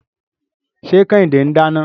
Ṣé Kẹ́hìndé ń dáná?